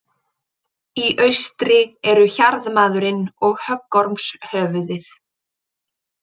Í austri eru Hjarðmaðurinn og Höggormshöfuðið.